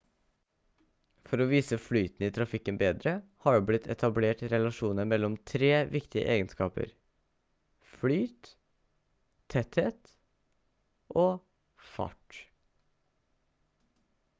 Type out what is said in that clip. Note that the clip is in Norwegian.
for å vise flyten i trafikken bedre har det blitt etablert relasjoner mellom tre viktige egenskaper: 1 flyt 2 tetthet og 3 fart